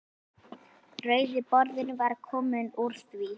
Rauði borðinn var kominn úr því.